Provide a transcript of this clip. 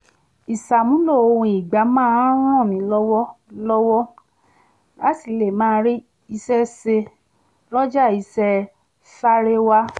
ìṣàmúlò ohun ìgbà máa ń ràn mí lọ́wọ́ lọ́wọ́ láti lè máa rí iṣẹ́ se lọ́jà iṣẹ́ sáréwá